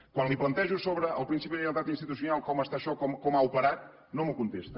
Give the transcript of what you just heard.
quan li plantejo el principi de lleialtat institucional com està això com ha operat no m’ho contesta